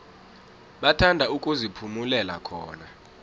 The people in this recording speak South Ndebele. bathanda ukuziphumulela khona